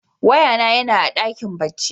Waya na ya na a dakin barci.